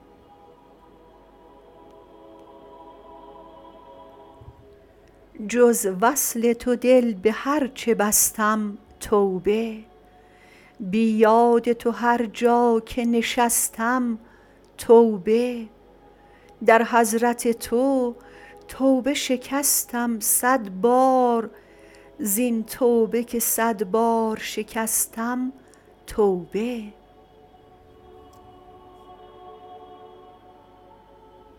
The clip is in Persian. جز وصل تو دل به هر چه بستم توبه بی یاد تو هر جا که نشستم توبه در حضرت تو توبه شکستم صد بار زین توبه که صد بار شکستم توبه